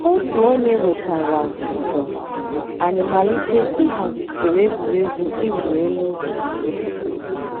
Ọ̀tù ònyè wètàrà ǔ́dọ̀, ànyị̀ màlítè íhàzì ǔsòrò ègwè́régwụ̀ ị̀wụ̀ èlù ọ̀tù.